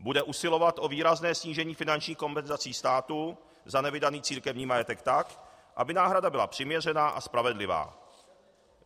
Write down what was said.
Bude usilovat o výrazné snížení finančních kompenzací státu za nevydaný církevní majetek tak, aby náhrada byla přiměřená a spravedlivá."